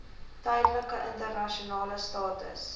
tydelike internasionale status